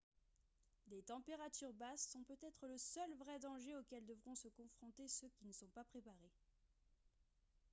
des températures basses sont peut-être le seul vrai danger auquel devront se confronter ceux qui ne sont pas préparés